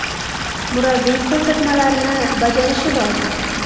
Murabbiy ko‘rsatmalarini bajarishi lozim.